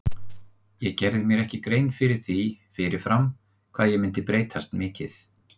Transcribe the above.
Ég gerði mér ekki grein fyrir því fyrir fram hvað ég myndi breytast mikið.